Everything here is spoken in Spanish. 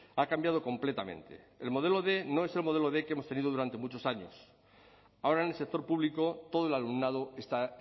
ha cambiado completamente el modelo quinientos no es el modelo quinientos que hemos tenido durante muchos años ahora en el sector público todo el alumnado está